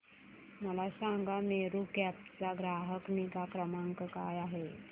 मला सांगा मेरू कॅब चा ग्राहक निगा क्रमांक काय आहे